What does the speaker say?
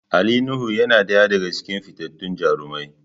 Ali Nuhu yana daya daga cikin fitattun jarumai.